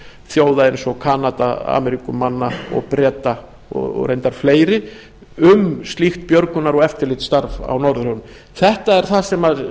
þjóða eins og kanada ameríkumanna breta og reyndar fleiri um slíkt björgunar og eftirlitsstarf í norðurhöfum þetta er það sem